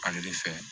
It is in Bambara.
Ale de fɛ